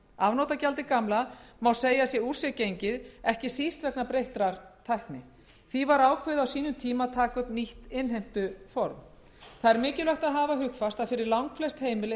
afnotagjaldið gamla má segja að sé úr sér gengið ekki síst vegna breyttrar tækni því var ákveðið á sínum tíma að taka upp nýtt innheimtuform það er mikilvægt að hafa hugfast að fyrir langflest heimili